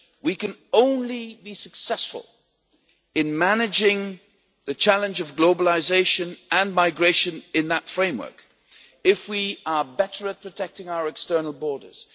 We can only be successful in managing the challenge of globalisation and migration in that framework if we are better at protecting our external borders